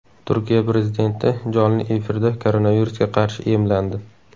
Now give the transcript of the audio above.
Turkiya prezidenti jonli efirda koronavirusga qarshi emlandi.